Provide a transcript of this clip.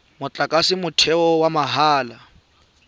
motlakase wa motheo wa mahala